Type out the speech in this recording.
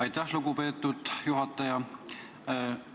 Aitäh, lugupeetud juhataja!